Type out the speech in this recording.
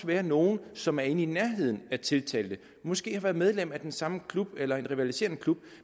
være nogle som er i nærheden af tiltalte måske har været medlem af den samme klub eller en rivaliserende klub